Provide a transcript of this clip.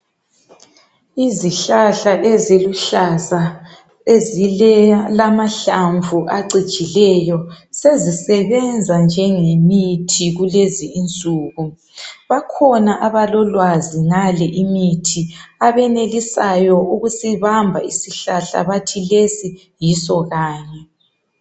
Izihlahla eziluhlaza ezilamahlamvu acijileyo sezi sebenza njengemithi kulezi insuku. Bakhona abalolwazi ngale imithi abenelisayo ukusibamba isihlahla bathi lesi yiso kanye.